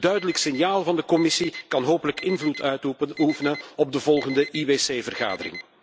Een duidelijk signaal van de Commissie kan hopelijk invloed uitoefenen op de volgende IWC vergadering.